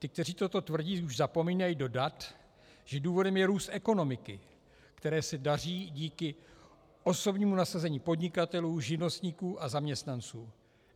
Ti, kteří toto tvrdí, už zapomínají dodat, že důvodem je růst ekonomiky, které se daří díky osobnímu nasazení podnikatelů, živnostníků a zaměstnanců.